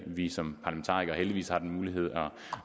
vi som parlamentarikere heldigvis har den mulighed